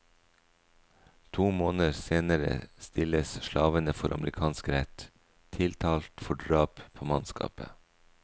To måneder senere stilles slavene for amerikansk rett, tiltalt for drap på mannskapet.